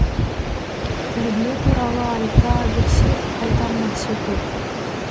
тәрбие туралы айта берсек айтар нәрсе көп